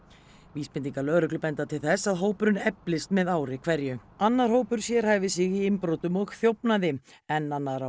vísbendingar lögreglu benda til þess að hópurinn eflist með ári hverju annar hópur sérhæfir sig í innbrotum og þjófnaði enn annar